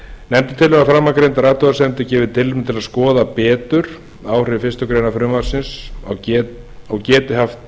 nefndin telur að framangreindar athugasemdir gefi tilefni til að skoða betur hver áhrif fyrstu grein frumvarpsins geti haft